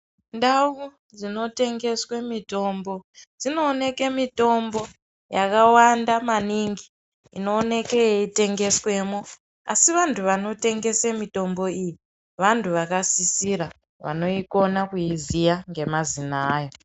Ndau dzinotengeswe mitombo dzinooneke mitombo yakawanda maningi inooneke yeitengeswemwo asi vantu vanotengese mitombo iyi vantu vakasisira vanoikona kuiziya nemazita ayo.